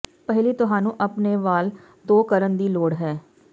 ਪਹਿਲੀ ਤੁਹਾਨੂੰ ਆਪਣੇ ਵਾਲ ਧੋ ਕਰਨ ਦੀ ਲੋੜ ਹੈ